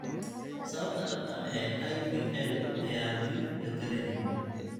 Sababta dhabta ah ee IVL ayaan weli la garanayn.